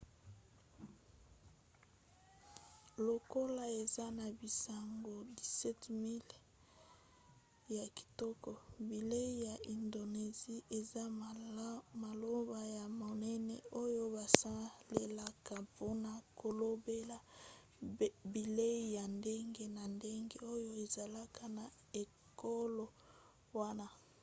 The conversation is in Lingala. lokola eza na bisanga 17 000 ya kitoko bilei ya indonesie eza maloba ya monene oyo basalelaka mpona kolobela bilei ya ndenge na ndenge oyo ezalaka na ekolo wana